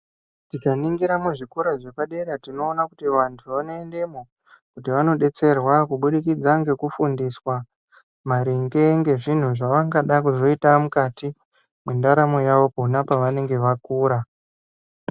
Tikaningira muzvikora zvepadera tinoona kuti vantu vanoendemwo kuti vanodetserwa kuburikidza ngekufundiswa maringe ngezvinhu zvavangada kuzoita mukati mwendaramo yavo pavanenge vakura.